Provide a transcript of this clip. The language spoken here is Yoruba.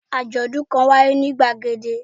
Àjòdún kan wáyé ní gbàgede